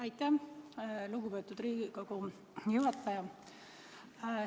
Aitäh, lugupeetud Riigikogu juhataja!